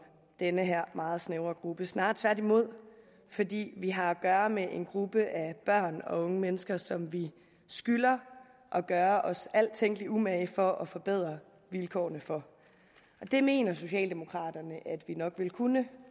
den her meget snævre gruppe snarere tværtimod fordi vi har at gøre med en gruppe af børn og unge mennesker som vi skylder at gøre os al tænkelig umage for at forbedre vilkårene for det mener socialdemokraterne at vi nok vil kunne